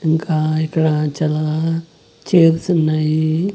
ఇంకా ఇక్కడ చాలా చైర్స్ ఉన్నాయి.